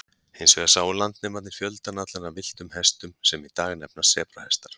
Hins vegar sáu landnemarnir fjöldann allan af villtum hestum, sem í dag nefnast sebrahestar.